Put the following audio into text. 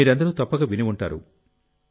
మీరందరూ తప్పక విని ఉంటారు